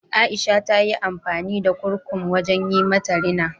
Aisha ta yi amfani da kurkum wajen yi mata rina.